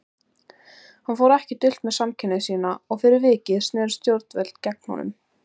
Hann fór ekki dult með samkynhneigð sína og fyrir vikið snerust stjórnvöld gegn honum.